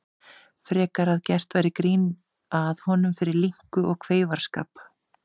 Frekar að gert væri grín að honum fyrir linku og kveifarskap.